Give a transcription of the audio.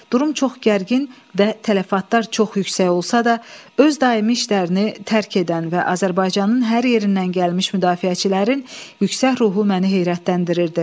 Durum çox gərgin və tələfatlar çox yüksək olsa da, öz daimi işlərini tərk edən və Azərbaycanın hər yerindən gəlmiş müdafiəçilərin yüksək ruhu məni heyrətləndirirdi.